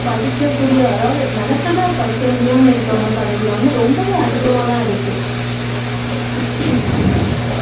படிக்கக்கூடிய அதாவது நினைச்சதா படிக்க முடியாம இருக்கவங்க சதவீதம் வந்து ரொம்பவே அதிகமா தான் இருக்கு